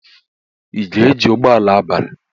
Ị ga-eji ụgbọ ala abalị?